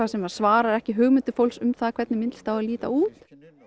sem svarar ekki hugmyndum fólks um hvernig myndlist á að líta út